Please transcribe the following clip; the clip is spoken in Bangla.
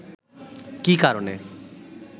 কী কারণে